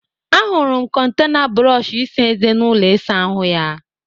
Ahụrụ m kọntena brọọshị eze n'ụlọ ịsa ahụ ya